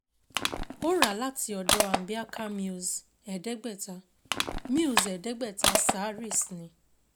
Ó rà láti ọ̀dọ̀ Ambiaca Mills ẹ̀ẹ́dẹ́gbẹ̀ta Mills ẹ̀ẹ́dẹ́gbẹ̀ta saris ní